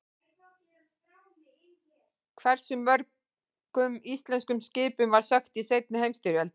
Hversu mörgum íslenskum skipum var sökkt í seinni heimsstyrjöldinni?